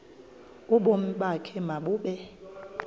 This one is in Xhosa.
ubomi bakho mabube